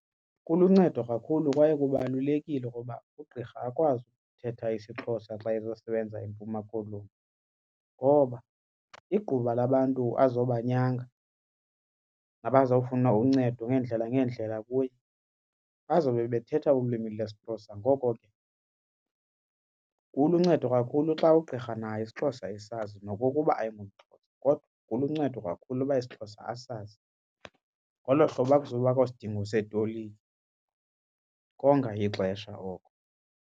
Kuluncedo kakhulu kwaye kubalulekile ukuba ugqirha akwazi ukuthetha isiXhosa xa ezosebenza eMpuma Koloni ngoba igquba labantu azobanyanga nabazawfuna uncedo ngeendlela ngeendlela kuye bazawube bethetha ulwimi lesiXhosa. Ngoko ke kuluncedo kakhulu xa ugqirha naye isiXhosa esazi nokokuba ayingomXhosa kodwa kuluncedo kakhulu uba isiXhosa asazi. Ngolo hlobo akuzubakho sidingo setolika, konga ixesha oko.